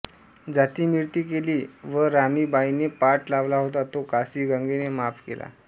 जाती मिळती केली व रामी बाईंनें पाट लावला होता तो कासी गंगेनें माफ केला